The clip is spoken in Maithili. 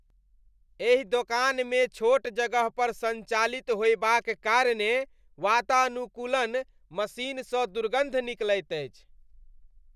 एहि दोकानमे छोट जगहपर सञ्चालित होयबाक कारणे वातानुकूलन मशीनसँ दुर्गन्ध निकलैत अछि।